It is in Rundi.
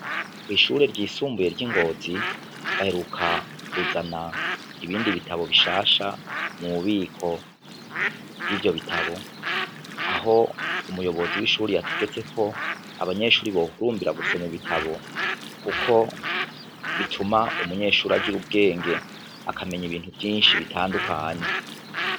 Kwishure ryisumbuye ryingozi baheruka kuzana ibindi bitabo bishasha mububiko bwivyo bitabo aho umuyobozi wishure yategetse ko abanyeshure bohurumbira gusoma ibitabo kuko bituma umunyeshure agira ubwenge akamenya ibintu vyinshi bitandukanye.